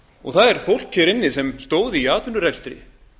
og það er fólk hér inni sem stóð í atvinnurekstri